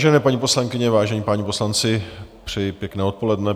Vážené paní poslankyně, vážení páni poslanci, přeji pěkné odpoledne.